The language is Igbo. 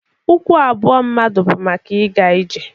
Ụkwụ abụọ mmadụ bụ maka ịga ije.